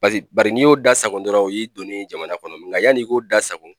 Paseke bari n'i y'o da sago dɔrɔn o y'i donnen ye jamana kɔnɔ nga yann'i k'o da sago